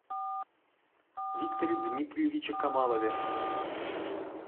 викторе дмитриевиче камалове